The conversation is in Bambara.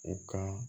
U ka